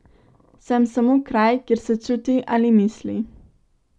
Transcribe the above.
Sem samo kraj, kjer se čuti ali misli.